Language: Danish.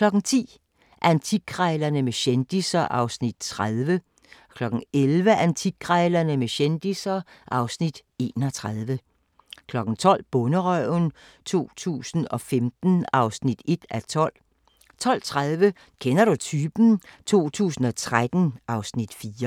10:00: Antikkrejlerne med kendisser (Afs. 30) 11:00: Antikkrejlerne med kendisser (Afs. 31) 12:00: Bonderøven 2015 (1:12) 12:30: Kender du typen? 2013 (Afs. 4)